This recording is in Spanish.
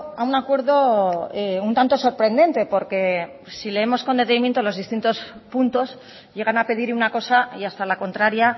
a un acuerdo un tanto sorprendente porque si leemos con detenimiento los distintos puntos llegan a pedir una cosa y hasta la contraria